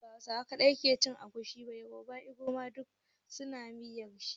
Ba Hausawa kaɗai ke cin agushi ba, yarbawa, inyamurai duk su na miyar shi.